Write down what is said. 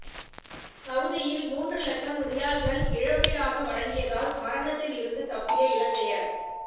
சவுதியில் மூன்று லட்சம் ரியால்களை இழப்பீடாக வழங்கியதால் மரணத்தில் இருந்து தப்பிய இலங்கையர்